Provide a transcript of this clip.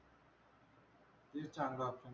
तेच चांगला option आहे.